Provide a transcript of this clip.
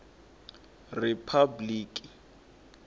ripabliki